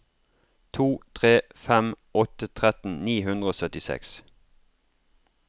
to tre fem åtte tretten ni hundre og syttiseks